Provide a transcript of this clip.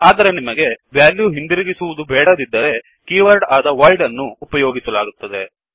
ಆದರೆ ನಿಮಗೆ ವೆಲ್ಯು ಹಿಂದಿರುಗುವುದು ಬೇಡದಿದ್ದರೆ ಕೀ ವರ್ಡ್ ಆದ ವಾಯ್ಡ್ ಅನ್ನು ಉಪಯೋಗಿಸಲಾಗುತ್ತದೆ